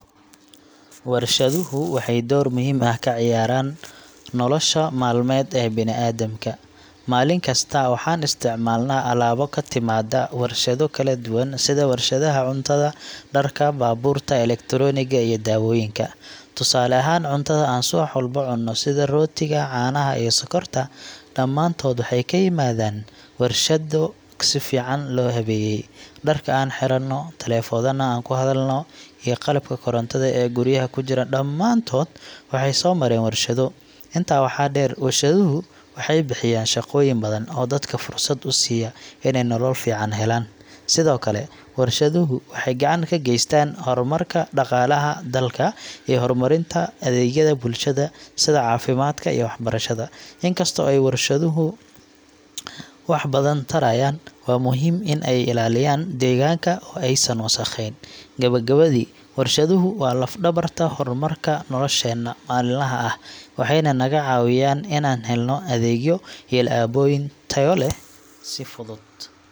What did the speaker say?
Warshaduhu waxay door muhiim ah ka ciyaaraan nolosha maalmeed ee bini’aadamka. Maalin kasta, waxaan isticmaalnaa alaabo ka timaadda warshado kala duwan sida warshadaha cuntada, dharka, baabuurta, elektaroonigga iyo daawooyinka. Tusaale ahaan, cuntada aan subax walba cunno sida rootiga, caanaha iyo sokorta, dhammaantood waxay ka yimaadeen warshado si fiican loo habeeyay. Dharka aan xidhanno, taleefannada aan ku hadalno, iyo qalabka korontada ee guryaha ku jira – dhammaantood waxay soo mareen warshado. Intaa waxaa dheer, warshaduhu waxay bixiyaan shaqooyin badan oo dadka fursad u siiya inay nolol fiican helaan. Sidoo kale, warshaduhu waxay gacan ka geystaan horumarka dhaqaalaha dalka iyo horumarinta adeegyada bulshada sida caafimaadka iyo waxbarashada. In kasta oo ay warshaduhu wax badan tarayaan, waa muhiim in ay ilaaliyaan deegaanka oo aysan wasakhayn. Gabagabadii, warshaduhu waa laf-dhabarta horumarka nolosheenna maalinlaha ah, waxayna naga caawiyaan inaan helno adeegyo iyo alaabooyin tayo leh si fudud.